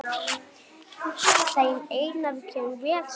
Þeim Einari kemur vel saman.